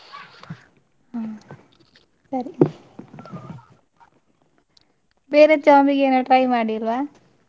ಹ್ಮ್‌ ಸರಿ ಬೇರೆ job ಗೆ ಏನು try ಮಾಡಿಲ್ವಾ?